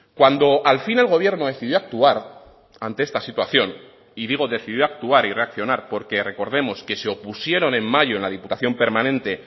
cuando al fin el gobierno decidió actuar ante esta situación y digo decidió actuar y reaccionar porque recordemos que se opusieron en mayo en la diputación permanente